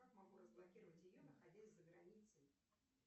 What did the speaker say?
как могу разблокировать ее находясь за границей